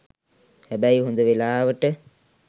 හැබැයි හොඳ වෙලාවට